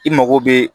I mago bɛ